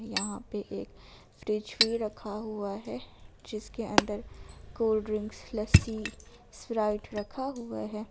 यहां पे एक फ्रिज भी रखा हुआ है जिसके अंदर कोल्ड ड्रिंक लस्सी स्प्राइट रखा हुआ है।